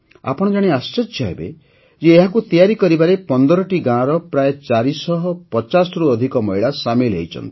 ଆପଣ ଜାଣି ଆଶ୍ଚର୍ଯ୍ୟ ହେବେ ଯେ ଏହାକୁ ତିଆରି କରିବାରେ ୧୫ଟି ଗାଁର ପ୍ରାୟ ୪୫୦ରୁ ଅଧିକ ମହିଳା ସାମିଲ୍ ହୋଇଛନ୍ତି